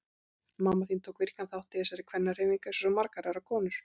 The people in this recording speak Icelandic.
Mamma þín tók virkan þátt í þessari kvennahreyfingu eins og svo margar aðrar konur.